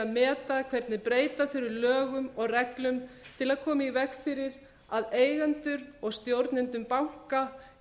að meta hvernig breyta þurfi lögum og reglum til að koma í veg fyrir að eigendur og stjórnendur banka